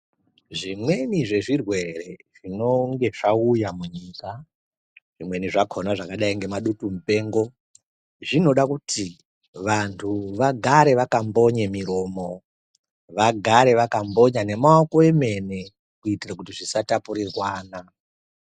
Zvimweni zvezvirwere zvinenge zvauya munyika, zvimweni zvakhona zvakadayi ngezvemadutumupengo zvinoda kuti vantu vagare vakambonye miromo, vagare vakambonya nemaoko emene kuitire kuti zvisatapurirwana.